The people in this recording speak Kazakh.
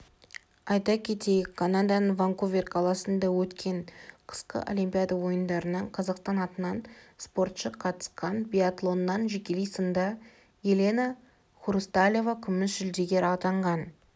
айта кетейік канаданың ванкувер қаласында өткен қысқы олимпиада ойындарына қазақстан атынан спортшы қатысқан биатлоннан жекелей сында елена хрусталева күміс жүлдегер атанған